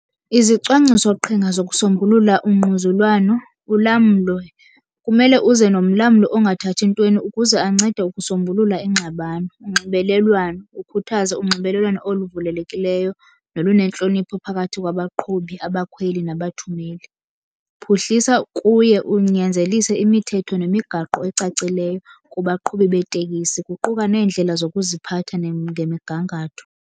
Izicwangcisoqhinga zokusombulula ungquzulwano. Ulamlo, kumele uze nomlamli ongathathi ntweni ukuze ancede ukusombulula ingxabano. Unxibelelwano, ukhuthaze unxibelelwano oluvulelekileyo nolunentlonipho phakathi kwabaqhubi, abakhweli nabathumeli. Phuhlisa kuye unyanzelise imithetho nemigaqo ecacileyo kubaqhubi beetekisi, kuquka neendlela zokuziphatha ngemigangatho.